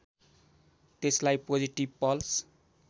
त्यसलाई positive pulse